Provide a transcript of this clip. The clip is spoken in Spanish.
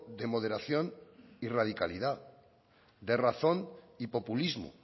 de moderación y radicalidad de razón y populismo